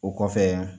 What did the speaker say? O kɔfɛ